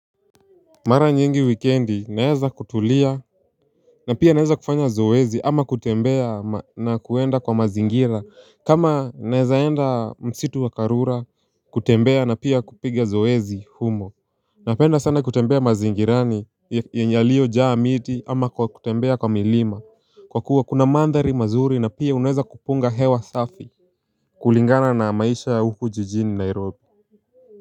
Mara nyingi wikendi naeza kutulia na pia naeza kufanya zoezi ama kutembea na kuenda kwa mazingira. Kama naeza enda msitu wa karura kutembea na pia kupiga zoezi humo. Napenda sana kutembea mazingirani yalio jaa miti ama kutembea kwa milima kwa kuwa kuna mandhari mazuri na pia unaeza kupunga hewa safi kulingana na maisha ya huku jijini Nairobi.